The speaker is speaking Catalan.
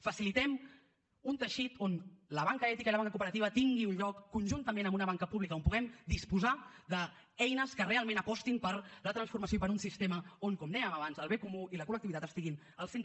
facilitem un teixit on la banca ètica i la banca cooperativa tinguin un lloc conjuntament amb una banca pública on puguem disposar d’eines que realment apostin per la transformació i per un sistema on com dèiem abans el bé comú i la col·lectivitat estiguin al centre